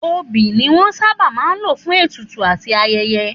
Òbí ni wọ́n sábà máa ń lò fún ètùtù àti ayẹyẹ